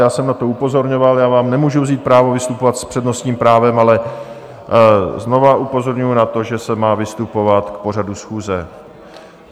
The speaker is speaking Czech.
Já jsem na to upozorňoval, já vám nemůžu vzít právo vystupovat s přednostním právem, ale znovu upozorňuji na to, že se má vystupovat k pořadu schůze.